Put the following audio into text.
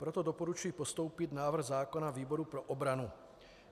Proto doporučuji postoupit návrh zákona výboru pro obranu.